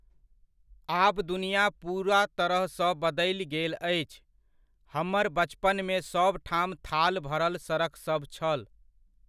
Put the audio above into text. आब दुनिया पूरा तरह सँ बदल गेल अछि। हमर बचपनमे सब ठाम थाल भरल सड़कसभ छल।